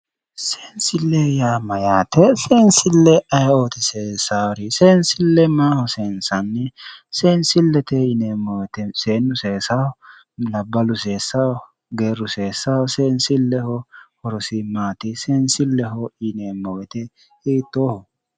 Seensille yaa mayyaate? Woyi seensille aye"oti seessaari? Seensille maaho seensanni? Seensillete yineeemmo woyiite seennu seesawo? Labballu seessawo? Geerru seessawo? Seensilleho horosi maati? Seensilleho yineemmo woyiite hiittooho?